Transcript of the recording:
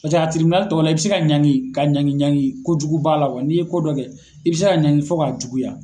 Paseke a tɔw la i be se ka ɲangi ka ɲangi ko jugu ba la. wa n'i ye ko dɔ kɛ , i be se ka ɲangi fɔ ka juguya.